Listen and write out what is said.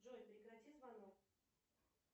джой прекрати звонок